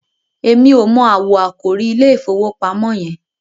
èmi ọ mọ awọ àkòrí ìIlé ìfowópamọ́ yen.